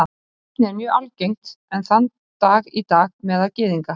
Nafnið er mjög algengt enn þann dag í dag meðal Gyðinga.